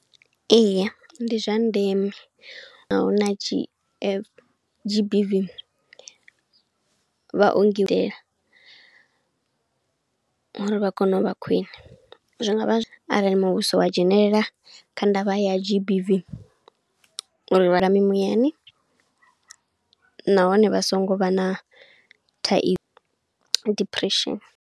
Eya, ndi zwa ndeme, ahuna G_F, G_B_V. Vhaongi u itela uri vha kone u vha khwiṋe. Zwi ngavha arali muvhuso wa dzhenelela kha ndavha ya G_B_V, uri vhalimi muyani nahone vha songo vha na thaidzo na depression.